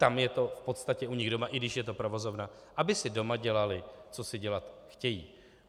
tam je to v podstatě u nich doma, i když je to provozovna, aby si doma dělali, co si dělat chtějí.